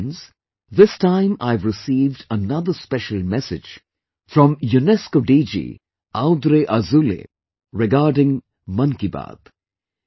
Friends, this time I have received another special message from UNESCO DG Audrey Azoulay regarding 'Mann Ki Baat'